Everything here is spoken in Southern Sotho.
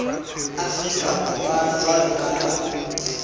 afrika borwa jwalo ka ha